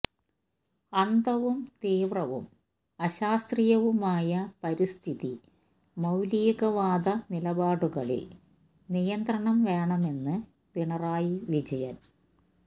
അന്ധവും തീവ്രവും അശാസ്ത്രീയവുമായ പരിസ്ഥിതി മൌലികവാദ നിലപാടുകളില് നിയന്ത്രണം വേണമെന്ന് പിണറായി വിജയന്